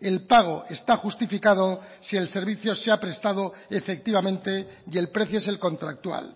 el pago está justificado si el servicio se ha prestado efectivamente y el precio es el contractual